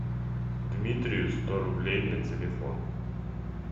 дмитрию сто рублей на телефон